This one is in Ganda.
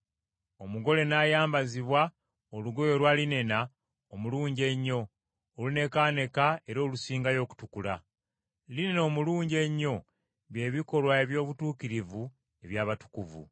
Omugole n’ayambazibwa olugoye olwa linena omulungi ennyo, olunekaaneka era olusingayo okutukula.” (Linena omulungi ennyo by’ebikolwa eby’obutuukirivu eby’abatukuvu.)